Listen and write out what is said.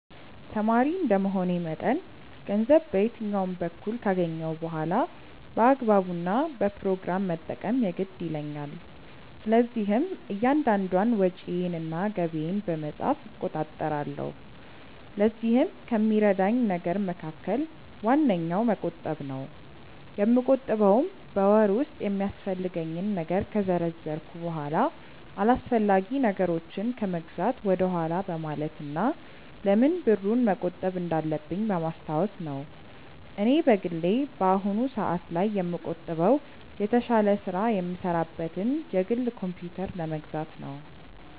ተማሪ እንደመሆኔ መጠን ገንዘብ በየትኛውም በኩል ካገኘሁ በኋላ በአግባቡ እና በፕሮግራም መጠቀም የግድ ይለኛል። ስለዚህም እያንዳንዷን ወጪዬን እና ገቢዬን በመጻፍ እቆጣጠራለሁ። ለዚህም ከሚረዳኝ ነገር መካከል ዋነኛው መቆጠብ ነው። የምቆጥበውም በወር ውስጥ የሚያስፈልገኝን ነገር ከዘረዘርኩ በኋላ አላስፈላጊ ነገሮችን ከመግዛት ወደኋላ በማለት እና ለምን ብሩን መቆጠብ እንዳለብኝ በማስታወስ ነው። እኔ በግሌ በአሁኑ ሰአት ላይ የምቆጥበው የተሻለ ስራ የምሰራበትን የግል ኮምፕዩተር ለመግዛት ነው።